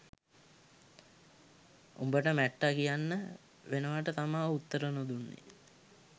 උබට මැට්ටා කියන්න වෙනවට තමා උත්තර නොදුන්නේ